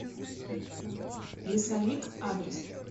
лесовик адрес